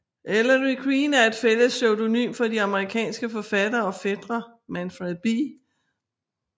Ellery Queen er et fælles pseudonym for de amerikanske forfattere og fætre Manfred B